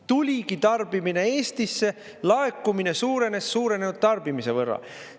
Tuligi tarbimine Eestisse, laekumine suurenes suurenenud tarbimise võrra.